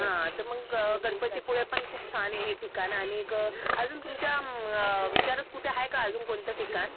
हा तर मग गणपतीपुळे पण खूप छान आहे हे ठिकाणं आणि अजून तुमच्या विचारात कुठं आहे का अजून कोणतं ठिकाण?